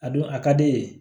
A don a ka di ye